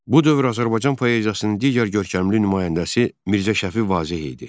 Bu dövr Azərbaycan poeziyasının digər görkəmli nümayəndəsi Mirzə Şəfi Vazeh idi.